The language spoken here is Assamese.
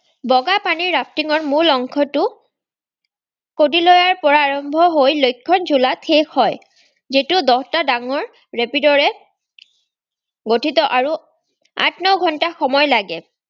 বগাপানীৰ rafting ৰ মূল অংশটো কদিলয়াৰপৰা আৰম্ভহৈ লক্ষ্মণঝুলাত শেষ হয়। যিটো দহটা ডাঙৰ rapid ৰে গঠিত আৰু আঠ-ন ঘন্টা সময় লাগে।